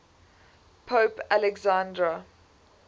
pope alexander